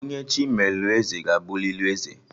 Onye Chi melụ eze ga-abụlịlị eze